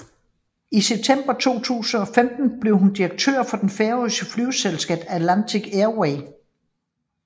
I september 2015 blev hun direktør for det færøske flyselskab Atlantic Airways